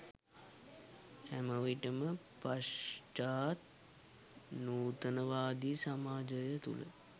හැම විටම පශ්චාත් නූතනවාදී සමාජය තුළ